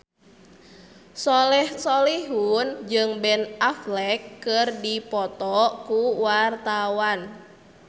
Soleh Solihun jeung Ben Affleck keur dipoto ku wartawan